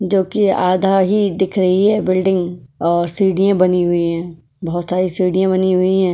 जो कि आधा ही दिख रही है बिल्डिंग और सीढ़ियां बनी हुई है बहुत सारी सीढ़ियां बनी हुई है।